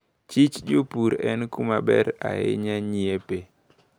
Chich jopur en kumaber ahinya nyiepe.